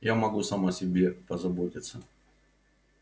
я могу сам о себе позаботиться